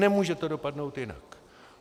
Nemůže to dopadnout jinak.